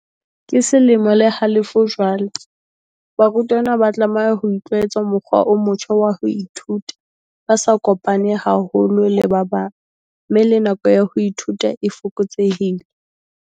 "Ke selemo le halofo jwale barutwana ba tlameha ho itlwaetsa mokgwa o motjha wa ho ithuta, ba sa kopane haholo le ba bang mme le nako ya ho ithuta e fokotsehile."